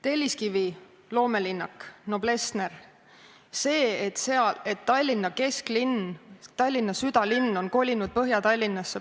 Telliskivi loomelinnak, Noblessner, see, et Tallinna kesklinn, Tallinna südalinn on kolinud Põhja-Tallinnasse ...